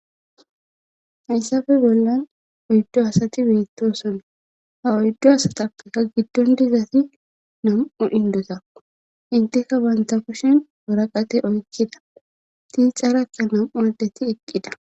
haysappe bollan oyddo asati beettosona ha oyddo asatappeka giddon dizati nam7u indota inteka banta koshin woraqate oykkida tii xarakka nam7u addetti eqqida